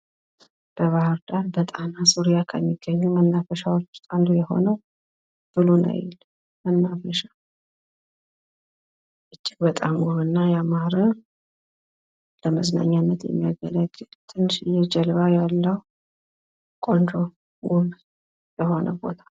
በባህር ዳር በጣና ዙሪያ ከሚገኙ መናፈሻዎች ዉስጥ አንዱ የሆነው ብሉ ናይል ፤ እጅግ በጥም ዉብ እና ያማረ ለመዝናኛነት የሚያገለግል ትንሽዬ ጀልባ ያለው ቆንጆ ዉብ ቦታ